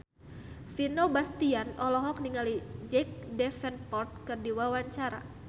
Vino Bastian olohok ningali Jack Davenport keur diwawancara